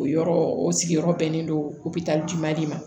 O yɔrɔ o sigiyɔrɔ bɛnnen don de ma